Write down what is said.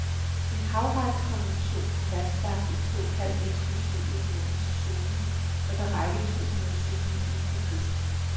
En havretskonvention har fastlagt en såkaldt eksklusiv økonomisk zone, der kan række to hundrede sømil ud fra kysten.